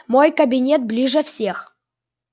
мой кабинет ближе всех